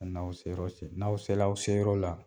N'aw serɔ se n'aw sel'aw se yɔrɔ la.